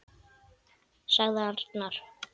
sagði arnar.